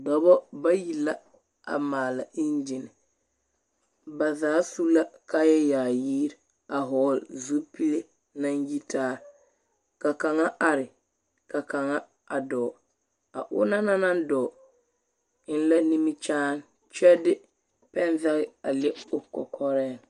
Dͻbͻ bayi la a maala eŋgyini. Ba zaa su la kaaya yaayiri a vͻgele zupile naŋ yitaa. Ka kaŋa are ka kaŋa a dͻͻ. A onaŋ na naŋ dͻͻ eŋ la nimikyaane kyԑ de pԑnzage a le o kͻkͻreŋ.